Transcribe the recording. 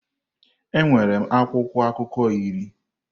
Enwere m akwụkwọ akụkọ iri.